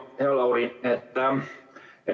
Hea Lauri!